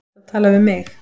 Ertu að tala við mig?